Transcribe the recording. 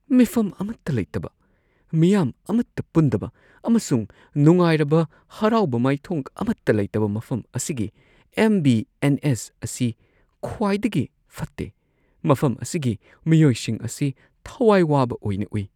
ꯃꯤꯐꯝ ꯑꯃꯠꯇ ꯂꯩꯇꯕ , ꯃꯤꯌꯥꯝ ꯑꯃꯠꯇ ꯄꯨꯟꯗꯕ, ꯑꯃꯁꯨꯡ ꯅꯨꯡꯉꯥꯏꯔꯕ ꯍꯔꯥꯎꯕ ꯃꯥꯏꯊꯣꯡ ꯑꯃꯠꯇ ꯂꯩꯇꯕ , ꯃꯐꯝ ꯑꯁꯤꯒꯤ ꯑꯦꯝꯕꯤ ꯑꯦꯟ ꯑꯦꯁ ꯑꯁꯤ ꯈ꯭ꯋꯥꯏꯗꯒꯤ ꯐꯠꯇꯦ꯫ ꯃꯐꯝ ꯑꯁꯤꯒꯤ ꯃꯤꯑꯣꯏꯁꯤꯡ ꯑꯁꯤ ꯊꯋꯥꯏ ꯋꯥꯕ ꯑꯣꯏꯅ ꯎꯏ꯫